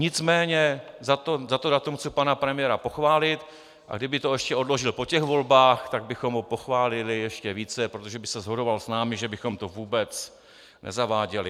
Nicméně za to datum chci pana premiéra pochválit, a kdyby to ještě odložil po těch volbách, tak bychom ho pochválili ještě více, protože by se shodoval s námi, že bychom to vůbec nezaváděli.